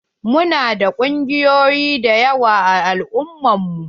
Mu na da ƙungiyoyi da yawa a al'umman mu.